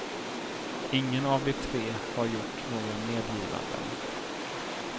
Ingen av de tre har gjort några medgivanden.